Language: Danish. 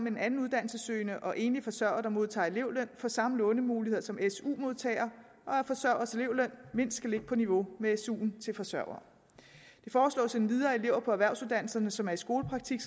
en anden uddannelsessøgende og enlige forsørgere der modtager elevløn får samme lånemuligheder som su modtagere og at forsørgeres elevløn mindst skal ligge på niveau med suen til forsørgere det foreslås endvidere at elever på erhvervsuddannelserne som er i skolepraktik